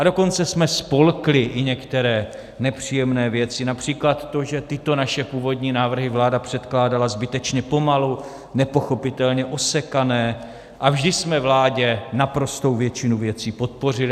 A dokonce jsme spolkli i některé nepříjemné věci, například to, že tyto naše původní návrhy vláda předkládala zbytečně pomalu, nepochopitelně osekané, a vždy jsme vládě naprostou většinu věcí podpořili.